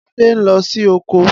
Ade n lo si oko.